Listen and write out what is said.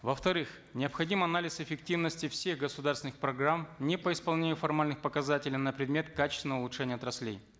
во вторых необходим анализ эффективности всех государственных программ не по исполнению формальных показателей на предмет качественного изучения отраслей